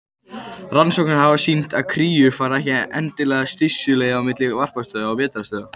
Rannsóknir hafa sýnt að kríur fara ekki endilega stystu leið á milli varpstöðva og vetrarstöðva.